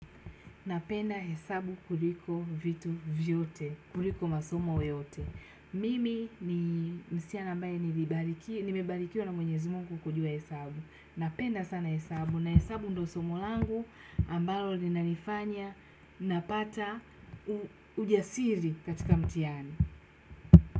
Napenda hesabu kuliko vitu vyote kuliko masomo yote mimi ni msichana ambaye nimebarikiwa na mwenyezi mungu kujua hesabu. Napenda sana hesabu na hesabu ndo somo langu ambalo linanifanya napata ujasiri katika mtihani.